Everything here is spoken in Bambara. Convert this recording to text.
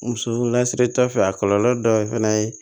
Muso lasiri ta fɛ a kɔlɔlɔ dɔ fana ye